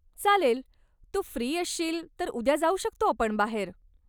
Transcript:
चालेल, तू फ्री असशील तर उद्या जाऊ शकतो आपण बाहेर.